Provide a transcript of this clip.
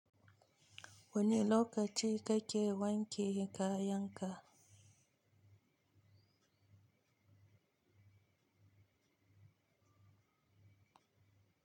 Wanne lokaci kake wanke kayanka?